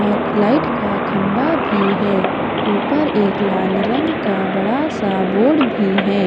और लाइट का खंबा भी है। ऊपर एक लाल रंग का बड़ा सा बोर्ड भी है।